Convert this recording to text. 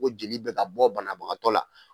Ko jeli bɛ ka bɔ banabagatɔ la.